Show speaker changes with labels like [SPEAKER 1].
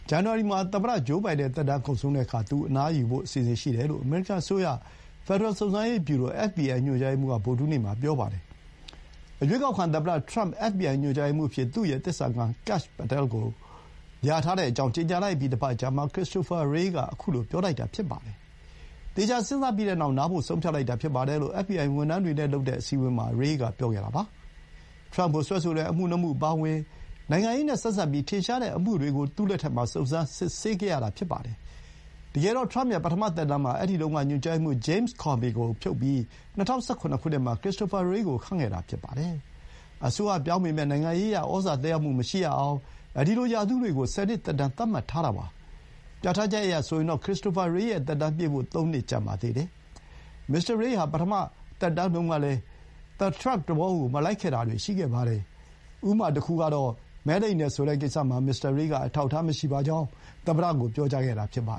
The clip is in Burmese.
[SPEAKER 1] ဇန်နဝါရီ မှာ သမ္မတ ဂျိုးဘိုင်ဒန် သက်တမ်းကုန်ဆုံးတဲ့အခါ သူလည်း အနားယူဖို့ အစီအစဥ်ရှိတယ်လို့ အမေရိကန် အစိုးရ ဖက်ဒရယ် စုံစမ်းစစ်ဆေးရေး ဗျူရို (FBI) ညွှန်ကြားရေးမှူးက ဗုဒ္ဓဟူးနေ့မှာ ပြောပါတယ်။ ရွေးကောက်ခံ သမ္မတ ထရမ့်က FBI ညွှန်ကြားရေးမှူး အဖြစ် သူ့ရဲ့ သစ္စာခံ Kash Patel ကို လျာထားကြောင်း ကြေညာလိုက်ပြီး တပတ်အကြာမှာ ခရစ္စတိုဖာ ရေးက အခုလို ပြောလိုက်တာ ဖြစ်ပါတယ်။ သေချာ စဥ်းစားပြီးနောက် နားဖို့ ဆုံးဖြတ်လိုက်တာ ဖြစ်ပါတယ်လို့ အက်ဖ်ဘီအိုင် ဝန်ထမ်းတွေနဲ့ လုပ်တဲ့ အစည်းအဝေးမှာ ရေးက ပြောပါတယ်။ ထရမ့်ကို စွဲဆိုတဲ့ အမှု ၂ မှု အပါအဝင် နိုင်ငံရေးနဲ့ ဆက်စပ်ပြီး ထင်ရှားတဲ့ အမှုတွေကို သူ့လက်ထက်မှာ စုံစမ်းစစ်ဆေးခဲ့ရတာပါ။ တကယ်တော့ ထရမ့်ရဲ့ ပထမ သက်တမ်းမှာ အဲဒီတုန်းက ညွှန်ကြားရေးမှူး James Comey ကို ဖြုတ်ပြီး ၂၀၁၇ ခုနှစ်မှာ Christopher Wray ကို ခန့်ခဲ့တာ ဖြစ်ပါတယ်။ အစိုးရ ပြောင်းပေမဲ့ နိုင်ငံရေးအရ ဩဇာ သက်ရောက်မှု မရှိရအောင် ဒီလို ရာထူးတွေကို ဆယ်နှစ် သက်တမ်း သတ်မှတ်ထားပါတယ်။ ပြဋ္ဌာန်းချက်အရဆိုရင်တော့ ခရစ္စတိုဖာ ရေး ရဲ့ သက်တမ်းပြည့်ဖို့ သုံးနှစ် ကျန်ပါသေးတယ်။ မစ္စတာ ရေးဟာ ပထမ သက်တမ်းတုန်းကတည်းက ထရမ့်သဘော မလိုက်ခဲ့တာတွေ ရှိခဲ့ပါတယ်။ တခုကတော့ မဲလိမ်တယ် ဆိုတဲ့ ကိစ္စမှာ မစ္စတာရေးက အထောက်အထား မရှိပါကြော
[SPEAKER 2] င်း သမ္မတကို ပြောကြားခဲ့တာပါ